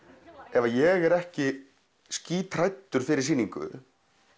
ef að ég er ekki skíthræddur fyrir sýningu